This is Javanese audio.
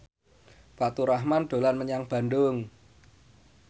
Faturrahman dolan menyang Bandung